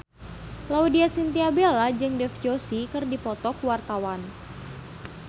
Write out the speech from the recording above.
Laudya Chintya Bella jeung Dev Joshi keur dipoto ku wartawan